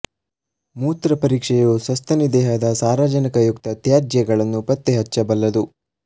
ಮೂತ್ರ ಪರೀಕ್ಷೆಯು ಸಸ್ತನಿ ದೇಹದ ಸಾರಜನಕಯುಕ್ತ ತ್ಯಾಜ್ಯಗಳನ್ನು ಪತ್ತೆ ಹಚ್ಚಬಲ್ಲದು